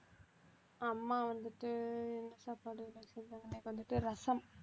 அம்மா வந்துட்டு என்ன சாப்பாடு இன்னைக்கு வந்துட்டு ரசம்